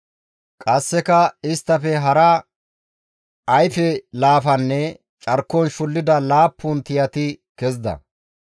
Qasseka isttafe hara ayfe laafanne carkon shullida laappun tiyati kezida.